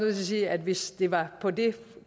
at sige at hvis det var på det